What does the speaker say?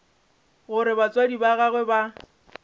gore batswadi ba gagwe ba